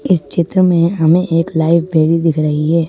इस चित्र में हमें एक लाइब्रेरी दिख रही है।